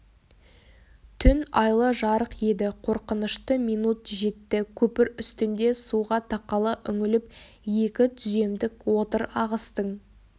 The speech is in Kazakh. түн айлы жарық еді қорқынышты минут жетті көпір үстінде суға тақала үңіліп екі түземдік отыр ағыстың